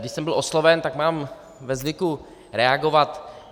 Když jsem byl osloven, tak mám ve zvyku reagovat.